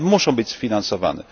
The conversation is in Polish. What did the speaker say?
One muszą być sfinansowane.